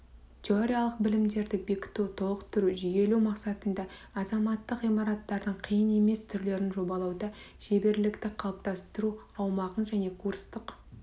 теориялық білімдерді бекіту толықтыру жүйелеу мақсатында азаматтық ғимараттардың қиын емес түрлерін жобалауда шеберлікті қалыптастыру аумағын және курстық